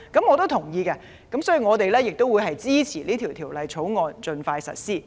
我同意這點，所以我支持《條例草案》盡快實施。